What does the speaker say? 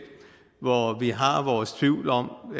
hvor vi har vores tvivl om